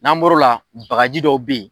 N'an bɔr'o la bagaji dɔw bɛyi.